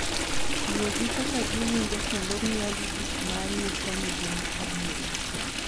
Yie gi kaka giwinjo kendo miyogi gik ma nyiso ni gin adier.